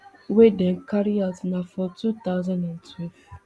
wey dem carry out na for two thousand and twelve